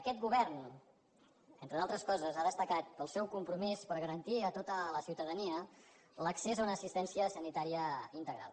aquest govern entre altres coses ha destacat pel seu compromís per garantir a tota la ciutadania l’accés a una assistència sanitària integral